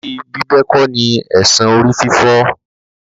Orí bíbẹ kò ní èsan orí-fífọ́.